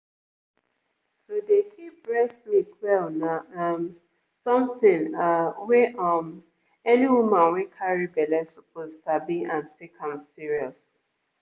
to dey keep breast milk well na um something ahh wey um any woman wey carry belle suppose sabi and take am serious.